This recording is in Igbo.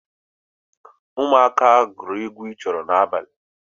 Ụmụaka gwụrụ egwu ịchụ oro n'abalị